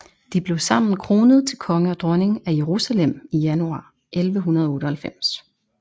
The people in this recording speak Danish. De blev sammen kronet til konge og dronning af Jerusalem i januar 1198